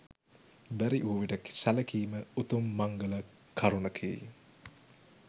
බැරි වූ විට සැලකීම උතුම් මංගල කරුණකි.